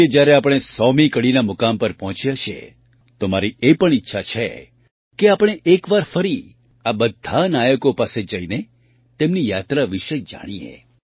આજે જ્યારે આપણે 100મી કડીના મુકામ પર પહોંચ્યા છીએ તો મારી એ પણ ઈચ્છા છે કે આપણે એક વાર ફરી આ બધા નાયકો પાસે જઈને તેમની યાત્રા વિશે જાણીએ